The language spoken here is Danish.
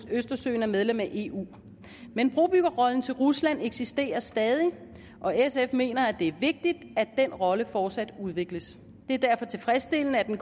østersøen er medlemmer af eu men brobyggerrollen til rusland eksisterer stadig og sf mener det er vigtigt at den rolle fortsat udvikles det er derfor tilfredsstillende at det